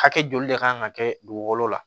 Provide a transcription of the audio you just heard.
Hakɛ joli de kan ka kɛ dugukolo la